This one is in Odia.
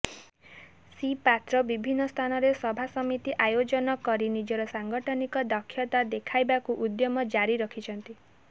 ଶ୍ରୀ ପାତ୍ର ବିଭିନ୍ନ ସ୍ଥାନରେ ସଭାସମିତି ଆୟୋଜନ କରି ନିଜର ସାଂଗଠନିକ ଦକ୍ଷତା ଦେଖାଇବାକୁ ଉଦ୍ୟମ ଜାରି ରଖିଛନ୍ତି